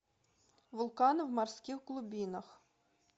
вулканы в морских глубинах